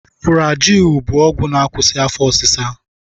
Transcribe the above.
Fụrajil bụ ọgwụ na-akwụsị afọ ọsịsa.